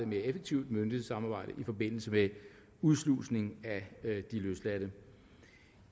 mere effektivt myndighedssamarbejde i forbindelse med udslusning at de løsladte